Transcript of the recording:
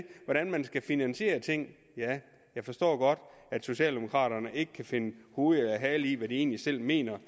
hvordan man skal finansiere tingene ja jeg forstår godt at socialdemokraterne ikke kan finde ud af hvad de egentlig selv mener